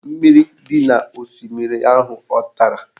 Mmiri dị n'osimiri ahụ a tara?